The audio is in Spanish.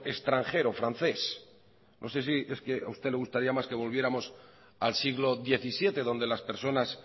extranjero francés no sé si es que a usted le gustaría más que volviéramos al siglo diecisiete donde las personas